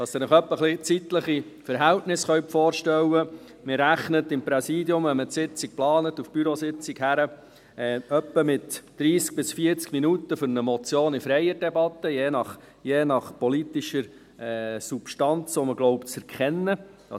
Damit Sie sich die zeitlichen Verhältnisse ein wenig vorstellen können: Wenn man die Sitzung im Hinblick auf die Bürositzung plant, rechnet man in etwa mit 30–40 Minuten für eine Motion in freier Debatte, je nach politischer Substanz, die man zu erkennen glaubt.